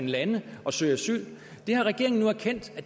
lande og søge asyl det har regeringen nu erkendt